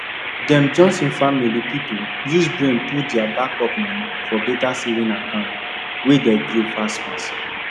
dem johnson family the people use brain put their backup money for better savings account wey dey grow fast fast